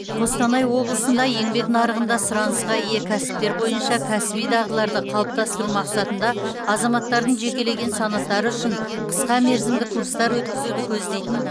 қостанай облысында еңбек нарығында сұранысқа ие кәсіптер бойынша кәсіби дағдыларды қалыптастыру мақсатында азаматтардың жекелеген санаттары үшін қысқамерзімді курстар өткізуді көздейтін